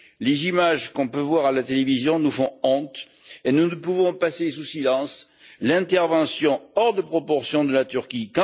Les images que l'on peut voir à la télévision nous font honte et nous ne pouvons passer sous silence l'intervention hors de proportion de la Turquie.